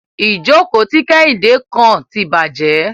Ìjókò tí Kéhìndé kàn tí bàjé.